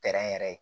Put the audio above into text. yɛrɛ ye